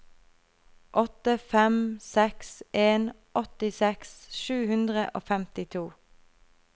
åtte fem seks en åttiseks sju hundre og femtito